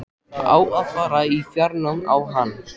Á að fara í fjárnám á hann?